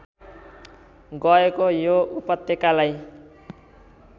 गएको यो उपत्यकालाई